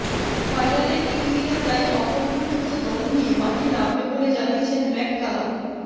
ফাইনালে কিউইরা তাই অপরিবর্তিত দল নিয়ে মাঠে নামবে বলে জানিয়েছেন ম্যাককালাম